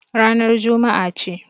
Ranar Juma'a ce.